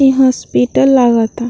इ हॉस्पिटल लागता।